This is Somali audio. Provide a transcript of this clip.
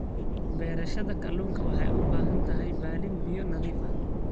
Beerashada kalluunka waxay u baahan tahay balli biyo nadiif ah.